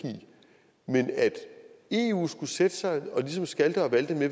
men at eu skulle sætte sig og ligesom skalte og valte med